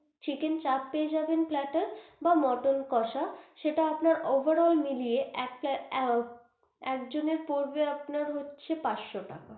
Chicken chaap পেয়ে যাবেন plater বা মটন কোষা সেটা আপনার over all মিলিয়ে একটা আহ একজনের পড়বে আপনার হচ্ছে পাঁচশো টাকা।